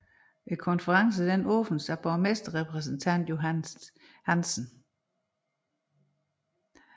Konferencen åbnedes af borgerrepræsentant Johannes Hansen